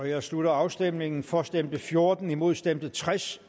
jeg slutter afstemningen for stemte fjorten imod stemte tres